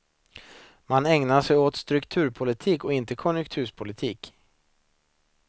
Man ägnade sig åt strukturpolitik, inte konjunkturpolitik.